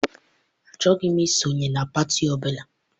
Achọghị m I sonye pati ọbụla.